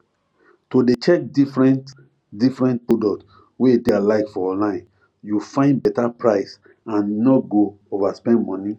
to dey check differentdifferent product wey dey alike for online you find better price and nor go overspend money